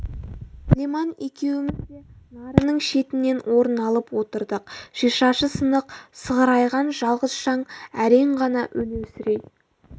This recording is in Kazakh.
алиман екеуміз де нарының шетінен орын алып отырдық шишасы сынық сығырайған жалғыз шам әрең ғана өлеусірей